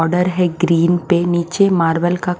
order है green पे नीचे मार्बल का--